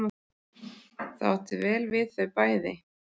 Það átti vel við þau bæði.